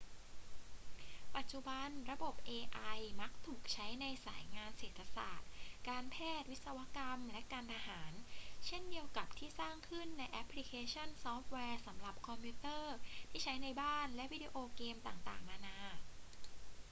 ปัจจุบัน ระบบ ai มักถูกใช้ในสายงานเศรษฐศาสตร์ การแพทย์ วิศวกรรม และการทหาร เช่นเดียวกับที่สร้างขึ้นในแอปพลิเคชันซอฟต์แวร์สำหรับคอมพิวเตอร์ที่ใช้ในบ้านและวิดีโอเกมต่างๆ นานา